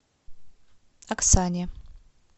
оксане